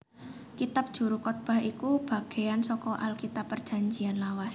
Kitab Juru Kotbah iku bagéyan saka Alkitab Prajanjian Lawas